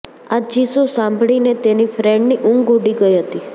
આ ચીસો સાંભળીને તેની ફ્રેન્ડની ઊંઘ ઊડી ગઈ હતી